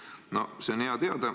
No seda on hea teada.